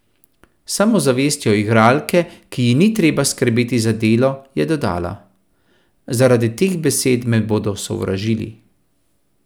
S samozavestjo igralke, ki ji ni treba skrbeti za delo, je dodala: "Zaradi teh besed me bodo sovražili ...